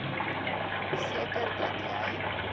seker dat jy